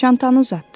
Çantanı uzatdı.